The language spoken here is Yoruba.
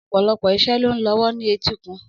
Ọ̀pọ̀lọpọ̀ iṣẹ́ ló ń lọ lọ́wọ́ ní etíkun.